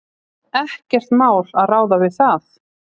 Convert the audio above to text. Ekkert mál að ráða við það.